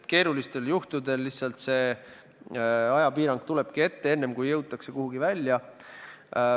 Keerulistel juhtudel see ajapiirang lihtsalt tulebki ette, enne kui jõutakse kuhugi välja.